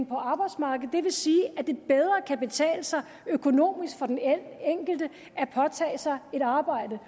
på arbejdsmarkedet det vil sige at det bedre kan betale sig økonomisk for den enkelte at påtage sig et arbejde